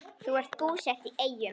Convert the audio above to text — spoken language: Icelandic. Þau eru búsett í Eyjum.